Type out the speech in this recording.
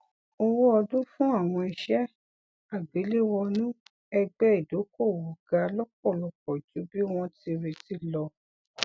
owó ọdún fún àwọn iṣẹ àgbéléwònú ẹgbẹ ìdókòwò ga lọpọlọpọ ju bí wọn ti retí lọ